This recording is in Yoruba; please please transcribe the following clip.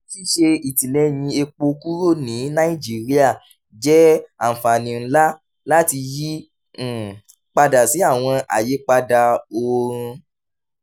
ṣíṣe ìtìlẹyìn epo kúrò ní nàìjíríà jẹ́ àǹfààní ńlá láti yí um padà sí àwọn àyípadà oorun